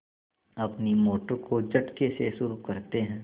अपनी मोटर को झटके से शुरू करते हैं